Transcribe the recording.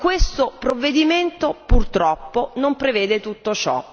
Ma questo provvedimento purtroppo non prevede tutto ciò.